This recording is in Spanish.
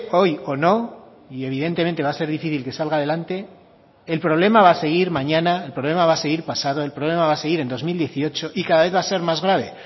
hoy o no y evidentemente va a ser difícil que salga a delante el problema va a seguir mañana el problema va a seguir pasado el problema va a seguir en dos mil dieciocho y cada vez va a ser más grave